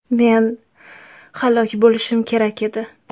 Men halok bo‘lishim kerak edi.